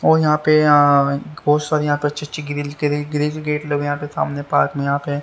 और यहां पे बहुत सारी यहां पे अच्छे-अच्छे ग्रिल ग्रिल गेट लगे यहां पे सामने पार्क में यहां पे--